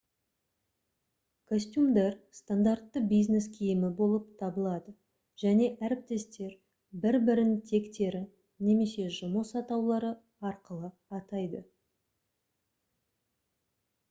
костюмдар стандартты бизнес киімі болып табылады және әріптестер бір бірін тектері немесе жұмыс атаулары арқылы атайды